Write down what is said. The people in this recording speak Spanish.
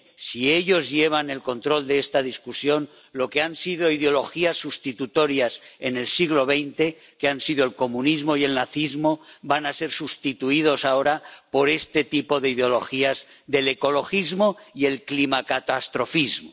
Si ellos llevan el control de esta discusión, lo que han sido ideologías sustitutorias en el siglo XX —que han sido el comunismo y el nazismo— van a ser sustituidas ahora por este tipo de ideologías del ecologismo y el climacatastrofismo.